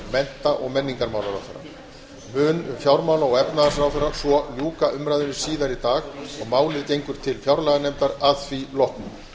mennta og menningarmálaráðherra mun fjármála og efnahagsráðherra svo ljúka umræðunni síðar í dag og málið gengur til fjárlaganefndar að því loknu